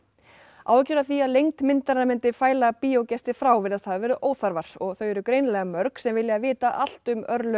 áhyggjur af því að lengd myndarinnar myndi fæla bíógesti frá virðast hafa verið óþarfar og þau greinilega mörg sem sem vilja vita allt um örlög